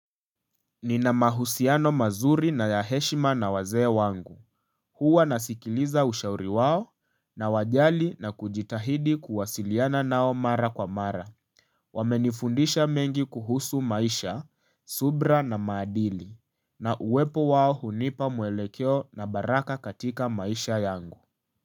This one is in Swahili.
Nina mahusiano mazuri na ya heshima na wazee wangu, huwa nasikiliza ushauri wao nawajali na kujitahidi kuwasiliana nao mara kwa mara Wamenifundisha mengi kuhusu maisha, subra na maadili, na uwepo wao hunipa muelekeo na baraka katika maisha yangu.